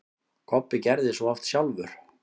Kobbi gerði svo oft sjálfur.